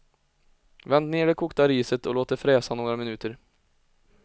Vänd ner det kokta riset och låt det fräsa några minuter.